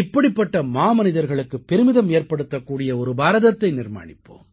இப்படிப்பட்ட மாமனிதர்களுக்குப் பெருமிதம் ஏற்படுத்தக்கூடிய ஒரு பாரதத்தை நிர்மாணிப்போம்